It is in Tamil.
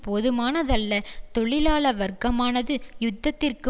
போதுமானதல்ல தொழிலாள வர்க்கமானது யுத்தத்திற்கு